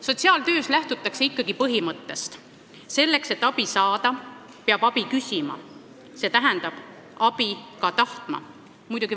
Sotsiaaltöös lähtutakse ikkagi põhimõttest: selleks, et abi saada, peab abi küsima, st abi ka tahtma.